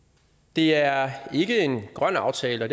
det er ikke en grøn aftale